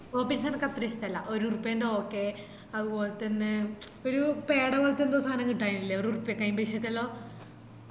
poppins എനക്കത്രഇഷ്ട്ടായില്ല ഒരുരപ്പന്റെ okay അതുപോലെതന്നെ ഒര് പേടപോലത്തെ ന്തോ സാനം കിട്ടാനില്ല ഒരുറുപ്പ്യക്ക് ആയിബായിഷെന്റെല്ലോം